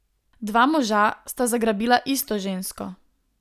Dva moža sta zagrabila isto žensko.